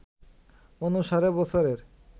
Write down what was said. অনুসারে বছরের